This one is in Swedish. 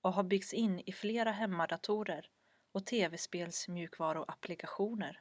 och har byggts in i flera hemmadatorer och tv-spels mjukvaruapplikationer